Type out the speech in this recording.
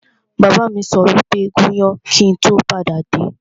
Bàbá mi sọ wípé 'gún iyán kíì tó padà dé!